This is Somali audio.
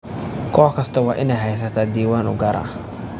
Koox kastaa waa inay haysataa diiwaan u gaar ah.